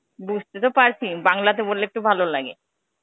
বুঝতে তো পারছি. বাংলাতে বল্লে একটু ভালো লাগে.